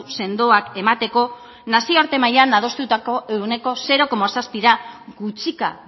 sendoak emateko nazioarte mailan adostutako ehuneko zero koma zazpira gutxika